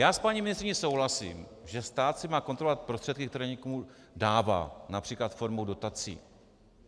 Já s paní ministryní souhlasím, že stát si má kontrolovat prostředky, které někomu dává, například formou dotací.